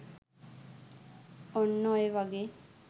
ඔන්න ඔය වගේ